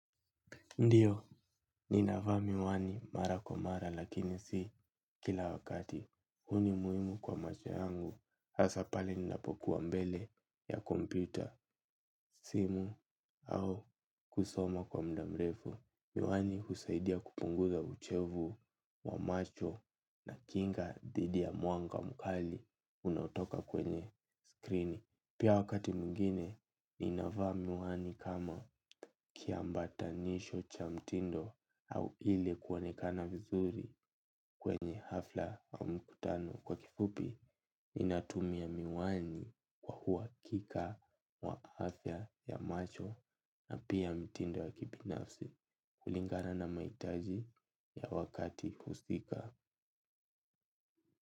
Ndiyo, ninavaa miwani mara kwa mara lakini si kila wakati. Huu ni muhimu kwa macho yangu, hasa pale ninapokuwa mbele ya kompyuta, simu au kusoma kwa muda mrefu. Miwani husaidia kupunguza uchovu wa macho na kinga dhidi ya mwanga mkali unaotoka kwenye skrini. Pia wakati mwingine ninavaa miwani kama kiambatanisho cha mtindo au ili kuonekana vizuri kwenye hafla au mkutano. Kwa kifupi, ninatumia miwani kwa uhakika wa afya ya macho na pia mtindo ya kibinafsi kulingana na mahitaji ya wakati husika.